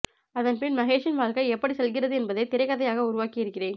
அதன்பின் மகேஷின் வாழ்க்கை எப்படி செல்கிறது என்பதை திரைக்கதையாக உருவாக்கி இருக்கிறேன்